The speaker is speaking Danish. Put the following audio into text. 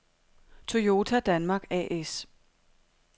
Toyota Danmark A/S